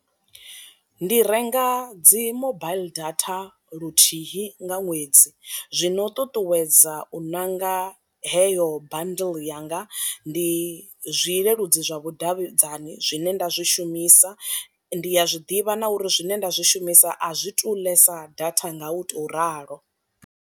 Ndi renga dzi mobaiḽi data luthihi nga ṅwedzi zwino u ṱuṱuwedza u ṋanga heyo bundle yanga, ndi zwileludzi zwa vhu davhidzani zwine nda zwi shumisa, ndi ya zwiḓivha na uri zwine nda zwi shumisa a zwi tu ḽesa data nga u to ralo.